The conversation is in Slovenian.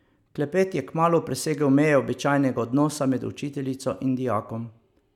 Klepet je kmalu presegel meje običajnega odnosa med učiteljico in dijakom.